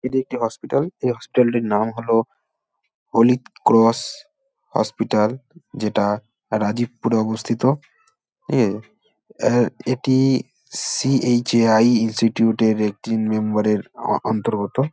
এটি একটি হসপিটাল এই হসপিটাল টির নাম হলো হলি ক্রশ হসপিটাল যেটা রাজিবপুরে অবস্থিত এ অ্যা এটি- ই সি.এইছ.এ.আই ইন্সটিউট এর একটি মেম্বার এর অন্তর্গত।